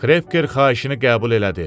Kreker xahişini qəbul elədi.